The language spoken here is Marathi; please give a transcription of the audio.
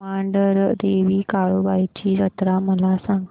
मांढरदेवी काळुबाई ची जत्रा मला सांग